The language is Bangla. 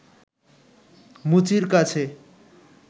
মুচির কাছে